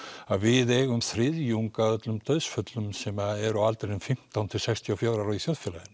við eigum þriðjung af öllum dauðsföllum sem eru á aldrinum fimmtán til sextíu og fjögur í þjóðfélaginu